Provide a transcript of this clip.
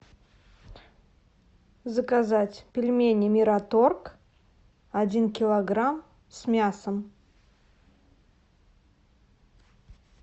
заказать пельмени мираторг один килограмм с мясом